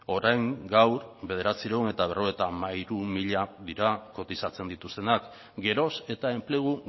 orain gaur bederatziehun eta berrogeita hamairu mila dira kotizatzen dituztenak geroz eta enplegu